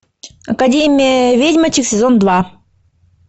академия ведьмочек сезон два